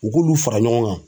U k'olu fara ɲɔgɔn kan